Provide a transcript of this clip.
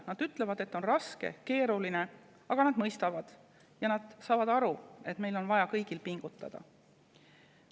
Nad ütlevad, et on raske ja keeruline, aga nad mõistavad ja saavad aru, et meil kõigil on vaja pingutada.